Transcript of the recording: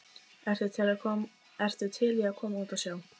ertu til í að koma út á sjó?